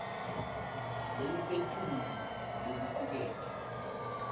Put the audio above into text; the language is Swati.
lelisetulu lokucuketfwe